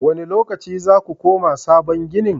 Wane lokaci za ku koma sabon ginin?